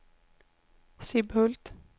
Sibbhult